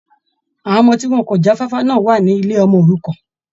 Àwọn ọmọ tí wọn kò já fáfá náà wà ní ilé ọmọ òrukàn.